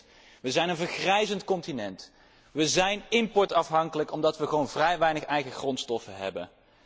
We zijn een vergrijzend continent. We zijn importafhankelijk omdat we gewoon vrij weinig eigen grondstoffen hebben.